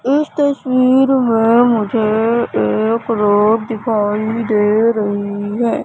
इस तस्वीर में मुझे एक रोड दिखाई दे रही है।